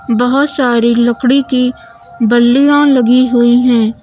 बहुत सारी लकड़ी की बल्लियां लगी हुई है।